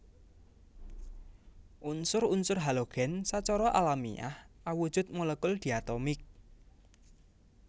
Unsur unsur halogen sacara alamiah awujud molekul diatomik